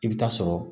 I bɛ taa sɔrɔ